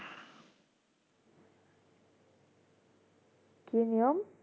কি নিয়ম